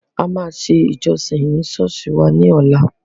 A máa ṣe ìjọsìn ni Sọ́ọ́sì wá ní ọ̀la.